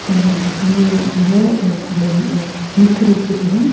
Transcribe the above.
अ जिसमें जो है मुख्य रूप से जो है।